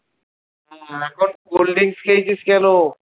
এখন cold drinks খেয়েছিস কেন?